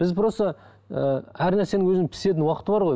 біз просто ііі әр нәрсенің өзінің пісетін уақыты бар ғой